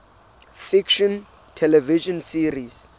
fiction television series